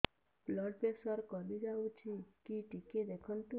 blood pressure କମି ଯାଉଛି କି ଟିକେ ଦେଖନ୍ତୁ